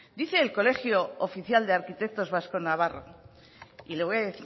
dice el colegio oficial de arquitectos vasco navarro y le voy a